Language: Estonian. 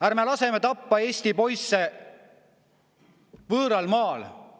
Ärme laseme tappa Eesti poisse võõral maal!